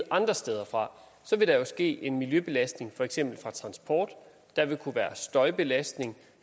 andre steder fra så vil der jo ske en miljøbelastning fra for eksempel transport og der vil kunne være støjbelastning